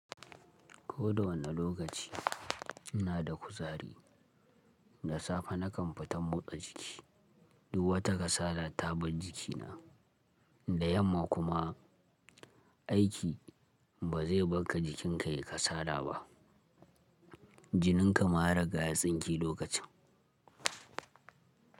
Ko da wane lokaci ina da kuzari, da safe na kan fita motsa jiki. Duwata kasala ta bar jikina da yamma kuma aiki ba zai barka jikinka yi kasala ba. Jininka ma ya riga ya tsinke lokacin.